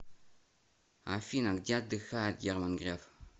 афина где отдыхает герман греф